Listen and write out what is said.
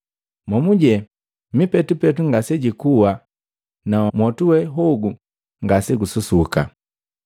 ‘Momuje mipetupetu ngasejikua na mwotu we hogu ngasegususuka.’